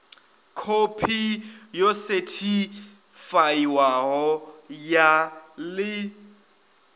khophi yo sethifaiwaho ya ḽi